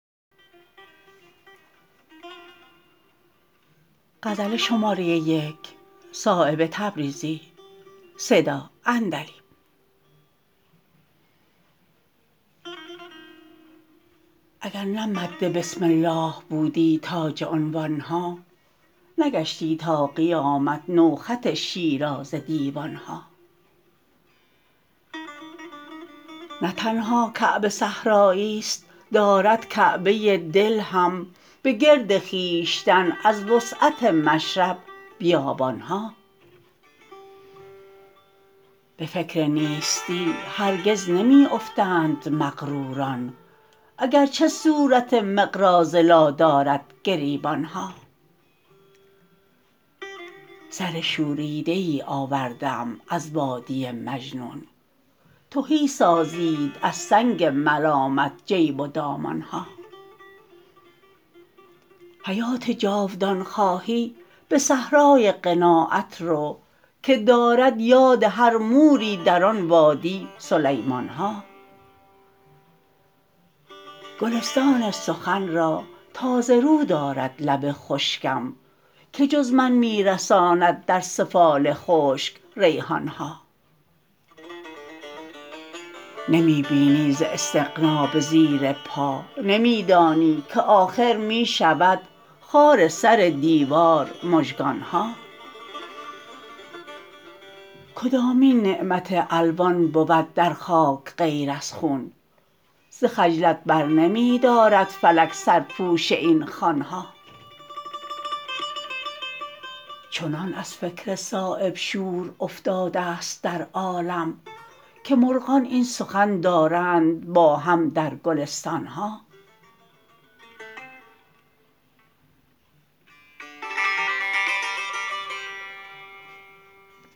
اگر نه مد بسم الله بودی تاج عنوان ها نگشتی تا قیامت نو خط شیرازه دیوان ها نه تنها کعبه صحرایی ست دارد کعبه دل هم به گرد خویشتن از وسعت مشرب بیابان ها به فکر نیستی هرگز نمی افتند مغروران اگرچه صورت مقراض لا دارد گریبان ها سر شوریده ای آورده ام از وادی مجنون تهی سازید از سنگ ملامت جیب و دامان ها حیات جاودان خواهی به صحرای قناعت رو که دارد یاد هر موری در آن وادی سلیمان ها گلستان سخن را تازه رو دارد لب خشکم که جز من می رساند در سفال خشک ریحان ها نمی بینی ز استغنا به زیر پا نمی دانی که آخر می شود خار سر دیوار مژگان ها کدامین نعمت الوان بود در خاک غیر از خون ز خجلت برنمی دارد فلک سرپوش این خوان ها چنان از فکر صایب شور افتاده ست در عالم که مرغان این سخن دارند با هم در گلستان ها